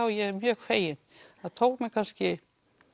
og ég er mjög fegin það tók mig kannski